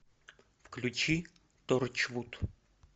включи торчвуд